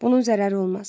Bunun zərəri olmaz.